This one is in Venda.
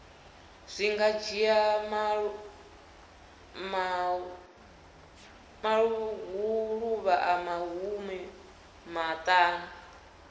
zwi nga dzhia maḓuvha maṱanu